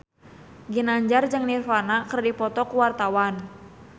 Ginanjar jeung Nirvana keur dipoto ku wartawan